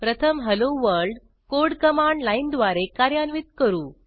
प्रथम hello world code command लाईनद्वारे कार्यान्वित करू